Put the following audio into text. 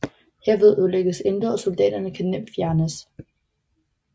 Herved ødelægges intet og soldaterne kan nemt fjernes